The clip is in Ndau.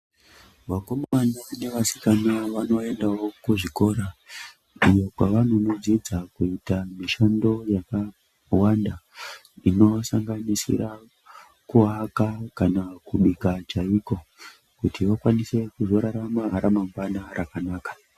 Vakomana nevasikana vanoendawo kuzvikora iyo kwavanonodzidza kuita mishando yakawanda inosanganisira kuwaka kana kubika chaiko kuti vakwanise kuzorarama ramangwana rakanaka.